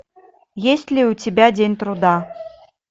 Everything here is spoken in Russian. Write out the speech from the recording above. есть ли у тебя день труда